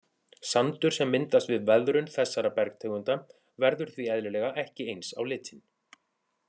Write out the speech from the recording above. Sandur sem myndast við veðrun þessara bergtegunda verður því eðlilega ekki eins á litinn.